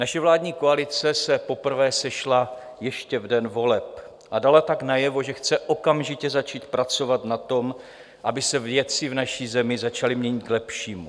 Naše vládní koalice se poprvé sešla ještě v den voleb a dala tak najevo, že chce okamžitě začít pracovat na tom, aby se věci v naší zemi začaly měnit v lepší.